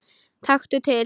Taktu til.